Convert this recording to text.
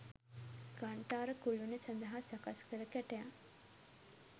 ඝණ්ඨාර කුළුණ සඳහා සකස් කළ කැටයම්